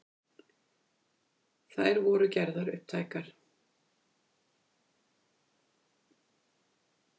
Þær voru gerðar upptækar